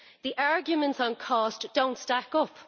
The arguments on cost do not stack up.